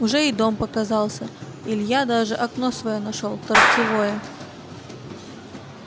уже и дом показался илья даже окно своё нашёл торцевое